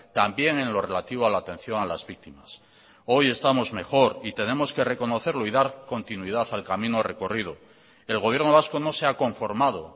también en lo relativo a la atención a las víctimas hoy estamos mejor y tenemos que reconocerlo y dar continuidad al camino recorrido el gobierno vasco no se ha conformado